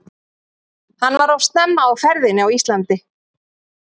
Hann var of snemma á ferðinni á Íslandi.